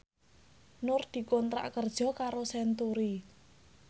Nur dikontrak kerja karo Century